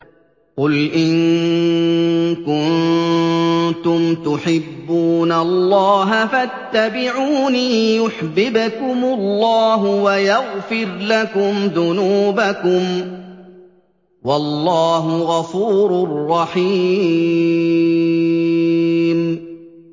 قُلْ إِن كُنتُمْ تُحِبُّونَ اللَّهَ فَاتَّبِعُونِي يُحْبِبْكُمُ اللَّهُ وَيَغْفِرْ لَكُمْ ذُنُوبَكُمْ ۗ وَاللَّهُ غَفُورٌ رَّحِيمٌ